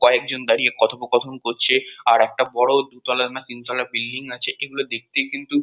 কয়েকজন দাঁড়িয়ে কথোপকথন করছে আর একটা বড় দুতলার না তিনতলার বিল্ডিং আছে এগুলো দেখতে কিন্তু--